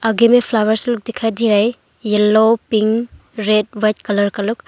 आगे में फ्लावर्स लोग दिखाई दे रहा है yellow pink red white colour का लोग।